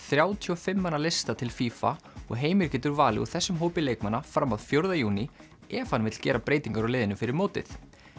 þrjátíu og fimm manna lista til og Heimir getur valið úr þessum hópi leikmanna fram að fjórða júní ef hann vill gera breytingar á liðinu fyrir mótið